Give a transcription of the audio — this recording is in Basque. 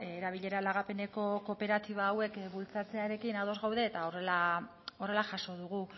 erabilera lagapeneko kooperatiba hauek bultzatzearekin ados gaude eta horrela jaso dugu